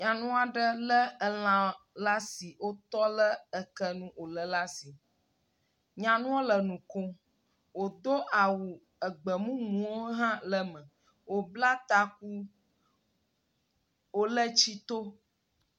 Nyanu aɖe lé elã la asi wotɔ le ekenu wòlé le asi. Nyanuɔ le nu kom, wòto awu egbe mumuwo hã le eme, wòbla taku, wòle tsi tom.